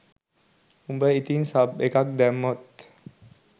උඹ ඉතින් සබ් එකක් දැම්මොත්